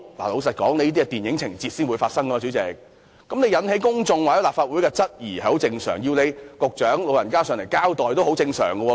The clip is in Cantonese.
代理主席，這些只應在電影情節才發生的事情，引起公眾或立法會質疑實屬正常，要局長前來立法會交代也很正常。